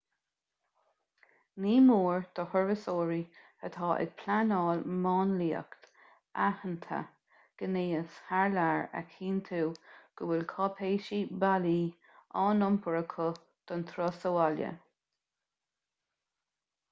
ní mór do thurasóirí atá ag pleanáil máinliacht athshannta gnéis thar lear a chinntiú go bhfuil cáipéisí bailí á n-iompar acu don turas abhaile